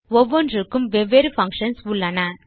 ஒவ்வொன்றுக்கும் வெவ்வேறு பங்ஷன் இருக்கிறது